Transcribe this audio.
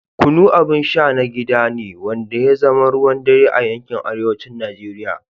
Kunu abin sha na gida ne wanda ya zama ruwan dare a yankin arewacin Najeriya.